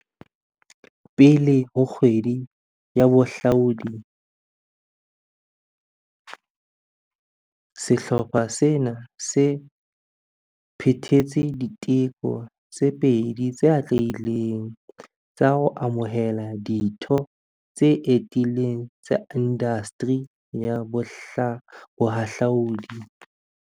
Pele ho Kgwedi ya Boha hlaudi, sehlopha sena se se phethetse diteko tse pedi tse atlehileng, tsa ho amohela ditho tse etileng tsa indasteri ya bohahlaudi.